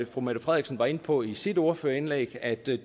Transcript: fru mette frederiksen var inde på i sit ordførerindlæg at det